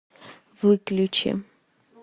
выключи